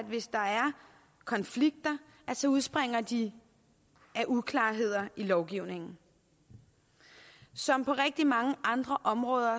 konflikter udspringer de af uklarheder i lovgivningen som på rigtig mange andre områder